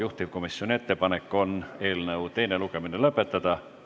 Juhtivkomisjoni ettepanek on eelnõu teine lugemine lõpetada.